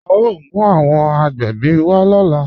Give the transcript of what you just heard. A o mú awọn agbẹ́bí wa lọ́lá.